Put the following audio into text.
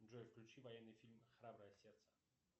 джой включи военный фильм храброе сердце